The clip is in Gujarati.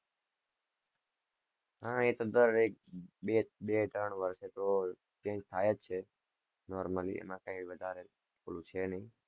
હા એ તો, દરેક, બે-ત્રણ વર્ષે તો change થાય જ છે, normally એમાં કાઈ વધારે ઓલું છે નઈ,